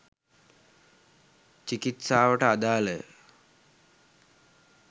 චිකිත්සාවට අදාළ ය